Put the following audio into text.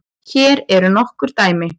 Hér eru nokkur dæmi